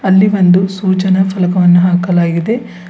ಅಲ್ಲಿ ಒಂದು ಸೂಚನಾ ಫಲಕವನ್ನು ಹಾಕಲಾಗಿದೆ.